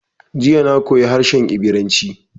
Jiya na koyi harshe Ibiranci.